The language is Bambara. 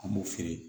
An b'o feere